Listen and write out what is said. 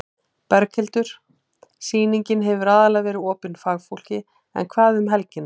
Berghildur: Sýningin hefur aðallega verið opin fagfólki en hvað um helgina?